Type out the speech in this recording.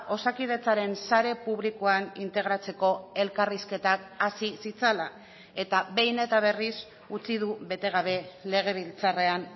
osakidetzaren sare publikoan integratzeko elkarrizketak hasi zitzala eta behin eta berriz utzi du bete gabe legebiltzarrean